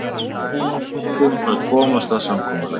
Við reyndum að komast að samkomulagi